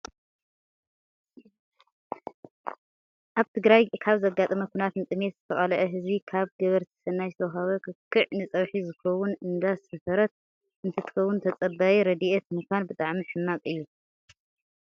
ኣብ ትግራይ ካብ ዘጋጠመ ኩናት ንጥሜት ዝተቃልዐ ህዝቢ ካብ ገበርቲ ሰናይ ዝተዋሃበ ክክዕ ንፀብሒ ዝከውን እንዳሰፈረት እንትከውን፣ ተፀባይ ረዴኤት ምኳን ብጣዕሚ ሕማቅ እዩ።